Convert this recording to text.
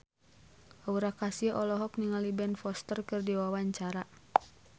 Aura Kasih olohok ningali Ben Foster keur diwawancara